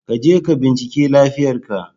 Ka je ka bincike lafiyar ka